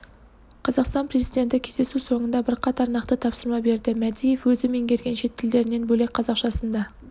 қазақстан президенті кездесу соңында бірқатар нақты тапсырма берді мәдиев өзі меңгерген шет тілдерінен бөлек қазақшасын да